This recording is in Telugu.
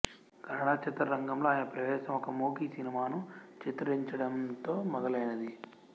కన్నడ చిత్రరంగంలో ఆయన ప్రవేశం ఒక మూకీ సినిమాను చిత్రించడంతో మొదలైనది